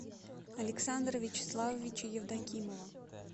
александра вячеславовича евдокимова